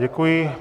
Děkuji.